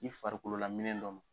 I farikolola minɛn dɔ ma